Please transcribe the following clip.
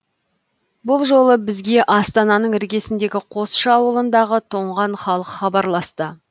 бұл жолы бізге астананың іргесіндегі қосшы ауылындағы тоңған халық хабарласты